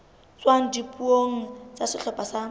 tswang dipuong tsa sehlopha sa